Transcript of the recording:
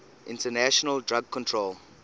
international drug control